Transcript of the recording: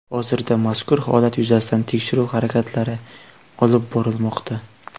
Hozirda mazkur holat yuzasidan tekshiruv harakatlari olib borilmoqda.